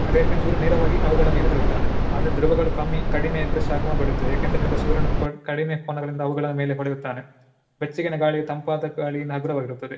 ಅದು ಯಾಕಂದ್ರೆ ಚೂರ ನೇರವಾಗಿ ಅವುಗಳ ಮೇಲೆ ಬೀಳುತ್ತಾನೆ ಆದ್ರೆ ಧ್ರುವಗಳು ಕಮ್ಮಿ ಕಡಿಮೆ ಇದ್ರೆ ಶಾಖವನ್ನು ಬಿಡುತ್ತದೆ ಯಾಕಂತ ಹೇಳಿದ್ರೆ ಸೂರ್ಯನ ಕಡಿಮೆ ಕೋನಗಳಿಂದ ಅವುಗಳ ಮೇಲೆ ಹೊಳೆಯುತ್ತಾನೆ. ಬೆಚ್ಚಗಿನ ಗಾಳಿ ತಂಪಾದ ಗಾಳಿ ಹಗುರವಾಗಿರುತ್ತದೆ.